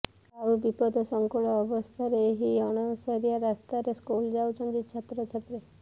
ଆଉ ବିପଦସଙ୍କୁଳ ଅବସ୍ଥାରେ ଏହି ଅଣଓସାରିଆ ରାସ୍ତାରେ ସ୍କୁଲ ଯାଉଛନ୍ତି ଛାତ୍ରଛାତ୍ରୀ